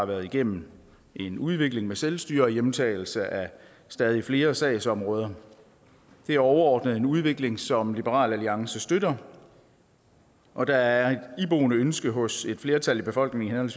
været igennem en udvikling med selvstyre og hjemtagelse af stadig flere sagsområder det er overordnet en udvikling som liberal alliance støtter og der er et iboende ønske hos et flertal i befolkningen